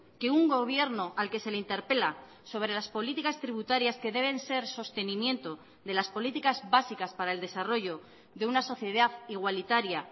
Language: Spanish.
que un gobierno al que se le interpela sobre las políticas tributarias que deben ser sostenimiento de las políticas básicas para el desarrollo de una sociedad igualitaria